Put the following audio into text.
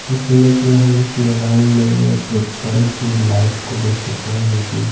इस इमेज में हम इस मैदान में एक बड़ी सी लाइट को देख सकते हैं जोकि--